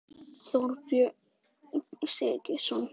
Henni voru gefnir hæfileikar frá öllum guðunum.